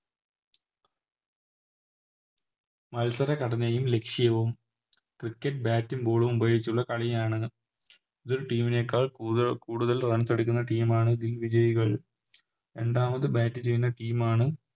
മത്സരഘടനയും ലക്ഷ്യവും Cricket bat ഉം Ball ഉം ഉപയോഗിച്ചുള്ള കളിയാണ് ഇതൊരു Team നേക്കാൾ കൂടുതൽ Runs എടുക്കുന്ന Team ആണ് ഇതിൽ വിജയികൾ രണ്ടാമത് Bat ചെയ്യുന്ന Team ആണ്